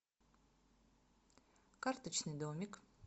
карточный домик